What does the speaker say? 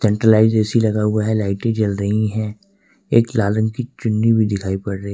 centralised AC लगा हुआ है लाइटें जल रही है एक लाल रंग की चुन्नी भी दिखाई पड़ रही--